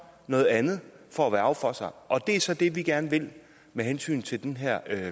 noget andet for at værge for sig og det er så det vi gerne vil med hensyn til den her